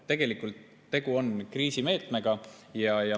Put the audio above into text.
Tegelikult on tegu kriisimeetmega.